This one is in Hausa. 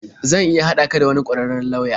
Zan iya haɗa ka da wani ƙwararren lauya.